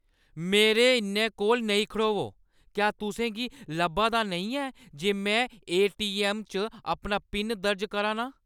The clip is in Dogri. मेरे इन्ने कोल नेईं खड़ोवो ! क्या तुसें गी लब्भा दा नेईं ऐ जे में ए.टी.ऐम्म. च अपना पिन दर्ज करा ना आं?